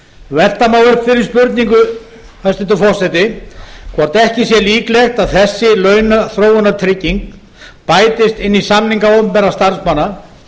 velta má upp þeirri spurningu hæstvirtur forseti hvort ekki sé líklegt að þessi launaþróunartrygging bætist inn í samninga opinberra starfsmanna